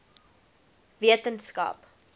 wetenskap